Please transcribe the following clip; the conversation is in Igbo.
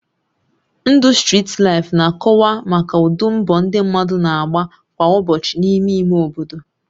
Ndụ strit laịfụ na-akọwa maka ụdị mbọ ndị mmadụ na-agba kwa ụbọchị n'ime ime obodo